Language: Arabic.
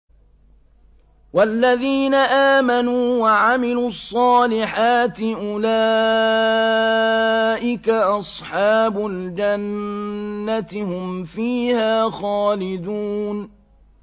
وَالَّذِينَ آمَنُوا وَعَمِلُوا الصَّالِحَاتِ أُولَٰئِكَ أَصْحَابُ الْجَنَّةِ ۖ هُمْ فِيهَا خَالِدُونَ